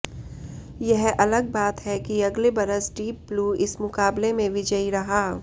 यह अलग बात है कि अगले बरस डीप ब्लू इस मुकाबले में विजयी रहा